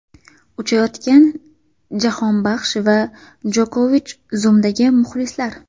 Uchayotgan Jahonbaxsh va Jokovich, Zoom’dagi muxlislar.